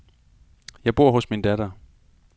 Jeg bor hos min datter.